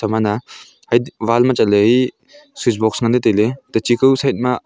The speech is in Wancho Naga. ama na hai wall ma chatley e switch box nganley tailey tachi kao side ma--